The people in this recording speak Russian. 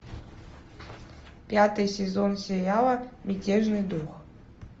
пятый сезон сериала мятежный дух